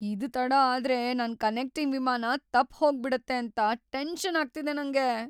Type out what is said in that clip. ಇದ್ ತಡ ಆದ್ರೆ ನನ್ ಕನೆಕ್ಟಿಂಗ್‌ ವಿಮಾನ ತಪ್ಪ್ ಹೋಗ್ಬಿಡುತ್ತೆ ಅಂತ ಟೆನ್ಷನ್‌ ಆಗ್ತಿದೆ ನಂಗೆ.